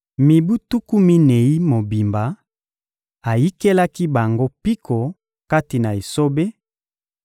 Mibu tuku minei mobimba, ayikelaki bango mpiko kati na esobe;